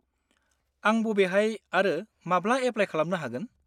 आं बबेहाय आरो माब्ला एप्लाय खालामनो हागोन?